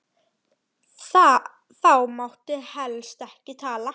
Þá mátti helst ekki tala.